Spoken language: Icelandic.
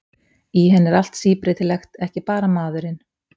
Í henni er allt síbreytilegt, ekki bara maðurinn.